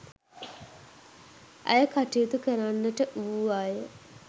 ඇය කටයුතු කරන්නට වුවාය.